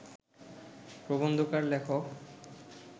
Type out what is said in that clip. প্রবন্ধকার লেখক